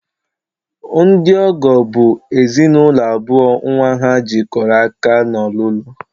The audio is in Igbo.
Ndị ọgọ bụ ezinụlọ abụọ nnwa ha jikọrọ aka n'ọlụlụ